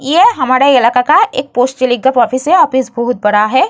ये हमारे इलाका का एक पोस्ट का ऑफिस है ऑफिस बहुत बड़ा है।